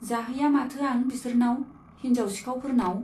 जाहैया माथो आं बिसोरनाव, हिन्जाव सिखाउफोरनाव।